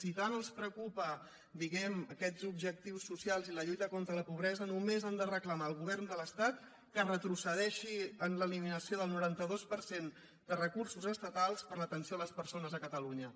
si tant els preocupen diguem ne aquests objectius socials i la lluita contra la pobresa només han de reclamar al govern de l’estat que retrocedeixi en l’eliminació del noranta dos per cent de recursos estatals per a l’atenció a les persones a catalunya